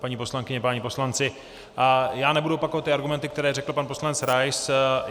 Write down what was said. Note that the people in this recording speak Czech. Paní poslankyně, páni poslanci, já nebudu opakovat ty argumenty, které řekl pan poslanec Rais.